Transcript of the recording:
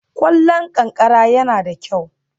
Ƙwallon ƙanƙara yana da kyau